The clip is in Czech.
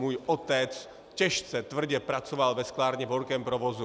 Můj otec těžce, tvrdě pracoval ve sklárně v horkém provozu.